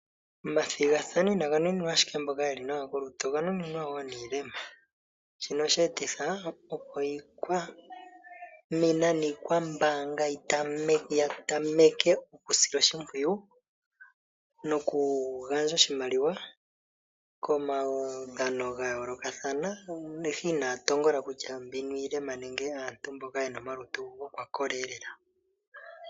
Omathigathano inaga nuninwa ashike mboka yeli nawa kolutu oga nuninwa wo niilema. Shino oshe etitha, opo iikwamina niikwambaanga ya tameke oku sila oshimpwiyu noku gandja oshimaliwa komahangano ga yoolokathana, ihe inaya tongola kutya mbino iilema nenge aantu mboka yena omalutu gokwakola elela.